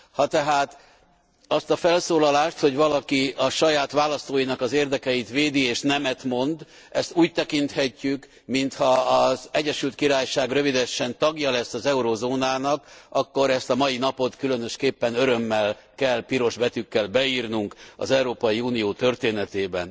Ha tehát azt a felszólalást, hogy valaki a saját választóinak az érdekeit védi és nemet mond, ezt úgy tekinthetjük, mintha az Egyesült Királyság rövidesen tagja lesz az eurózónának, akkor ezt a mai napot különösképpen örömmel kell piros betűkkel beírnunk az Európai Unió történetébe.